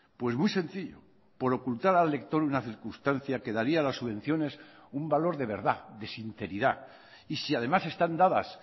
pues muy sencillo por ocultar al lector una circunstancia que daría a las subvenciones un valor de verdad de sinceridad y si además están dadas